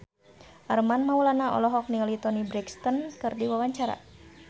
Armand Maulana olohok ningali Toni Brexton keur diwawancara